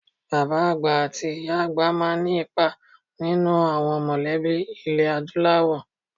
Àwọn bàbá àti ìyá àgbà máa ní ipa nínú àwọn mọ̀lẹ́bí ilẹ̀ Adúláwọ̀.